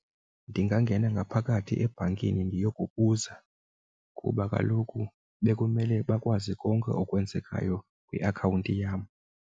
Ndingangena ngaphakathi ebhankini ndiyokubuza kuba kaloku bekumele bakwazi konke okwenzekayo kwiakhawunti yam.